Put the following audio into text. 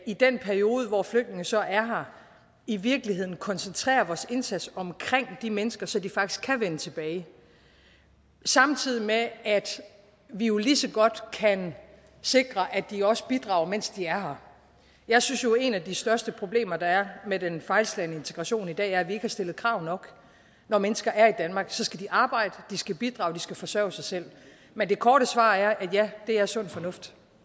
i den periode hvor flygtninge så er her i virkeligheden koncentrerer vores indsats om de mennesker så de faktisk kan vende tilbage samtidig med at vi jo lige så godt kan sikre at de også bidrager mens de er her jeg synes jo at et af de største problemer der er med den fejlslagne integration i dag er at vi ikke har stillet krav nok når mennesker er i danmark skal de arbejde og de skal bidrage og de skal forsørge sig selv men det korte svar er ja det er sund fornuft